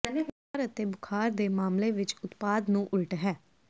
ਬੁਖ਼ਾਰ ਅਤੇ ਬੁਖ਼ਾਰ ਦੇ ਮਾਮਲੇ ਵਿੱਚ ਉਤਪਾਦ ਨੂੰ ਉਲਟ ਹੈ